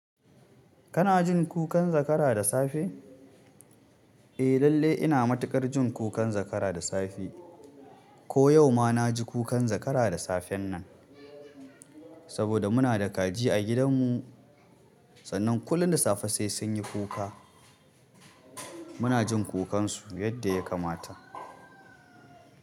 Kana jin kukan zakara da safe? Eh lallai ina matuƙar ji kukan zakara da safe ko yau ma na ji kukan zakara da safen nan. Saboda muna da kaji a gidan mu sannan kullum da safe sai sun yi kuka. Muna jin kukansu yadda ya kamata.